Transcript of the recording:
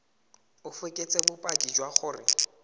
o fekese bopaki jwa gore